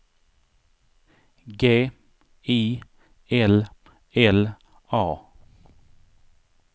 G I L L A